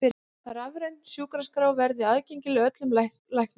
Rafræn sjúkraskrá verði aðgengileg öllum læknum